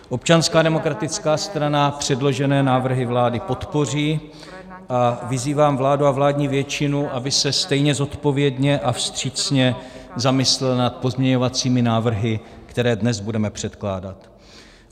Občanská demokratická strana předložené návrhy vlády podpoří a vyzývám vládu a vládní většinu, aby se stejně zodpovědně a vstřícně zamyslela nad pozměňovacími návrhy, které dnes budeme předkládat.